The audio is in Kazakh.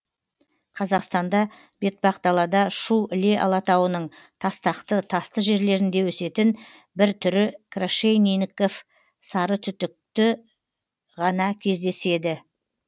қазақстанда бетпақдалада шу іле алатауының тастақты тасты жерлерінде өсетін бір түрі крашенинников сарытүтікі ғана кездеседі